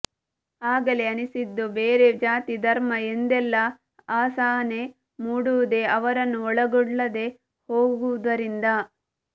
ಆಗಲೇ ಅನಿಸಿದ್ದು ಬೇರೆ ಜಾತಿ ಧರ್ಮ ಎಂದೆಲ್ಲ ಅಸಹನೆ ಮೂಡುವುದೆ ಅವರನ್ನು ಒಳಗೊಳ್ಳದೆ ಹೋಗುವುದರಿಂದ